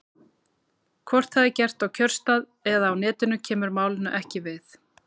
Hvort það er gert á kjörstað eða á Netinu kemur málinu ekki við.